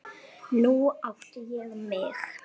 Nú átti ég mig.